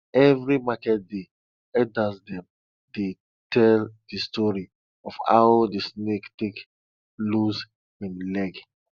every market day elders dem dey tell de story of how de snake take lose im legs